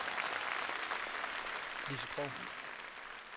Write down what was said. Lizzie Krog